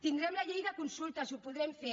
tindrem la llei de consultes ho podrem fer